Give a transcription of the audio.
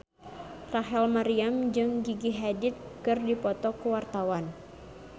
Rachel Maryam jeung Gigi Hadid keur dipoto ku wartawan